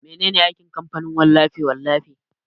Mene ne aikin kamfanin wallafe-wallafe?